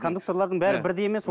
кондуктарлардың бәрі бірдей емес